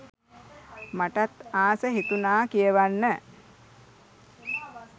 මටත් ආස හිතුනා කියවන්න.